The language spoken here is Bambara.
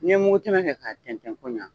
N'i ye mugu tɛmɛ kɛ k'a tɛntɛn ko ɲɛ